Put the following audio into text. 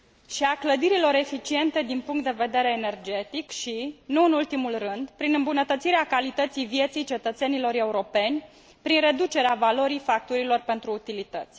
și a clădirilor eficiente din punct de vedere energetic și, nu în ultimul rând, prin îmbunătățirea calității vieții cetățenilor europeni, prin reducerea valorii facturilor pentru utilități.